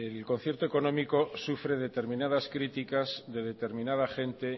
el concierto económico sufre determinadas críticas de determinada gente